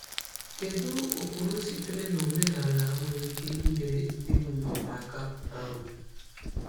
Kedu ụkpụrụ sitere n’omenala nwere ike inyere ndị nwunye aka? um